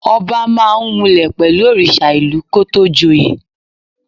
Ọba máa ń múlẹ̀ pẹ̀lú òrìṣà ìlú kó tó joyè.